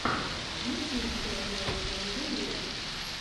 есть ли у тебя ариана гранде вево